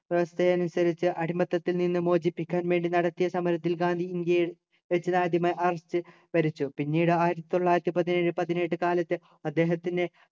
വ്യവസ്ഥ അനുസരിച്ച് അടിമത്തത്തിൽ നിന്നും മോചിപ്പിക്കാൻ വേണ്ടി നടത്തിയ സമരത്തിൽ ഗാന്ധി ഇന്ത്യയിൽ വെച്ച് ഇതാദ്യമായി arrest വരിച്ചു പിന്നീട് ആയിരത്തി തൊള്ളായിരത്തി പതിനേഴു പതിനെട്ടു കാലത്ത് അദ്ദേഹത്തിൻ്റെ